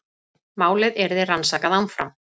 Málið yrði rannsakað áfram